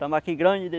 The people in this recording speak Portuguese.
Tambaqui grande de